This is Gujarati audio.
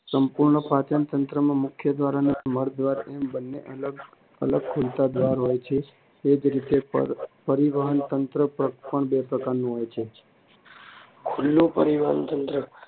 સંપૂર્ણ પાચનતંત્રમાં મુખદ્વાર અને મળદ્વાર એમ બંને અલગ અલગ ખુલતા દ્વાર હોય છે. એ જ રીતે પરિવહન તંત્ર પણ બે પ્રકારના હોય છે. ખુલ્લું પરિવહનતંત્ર